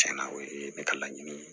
Tiɲɛna o ye ne ka laɲini ye